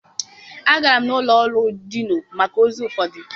Agara m n'ụlọ ọrụ Dinụ̀ maka ozi ụfọdụ